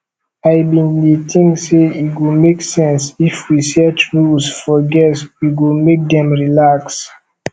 i bin dey think sey e go make sense if we set rules for guests e go make dem relax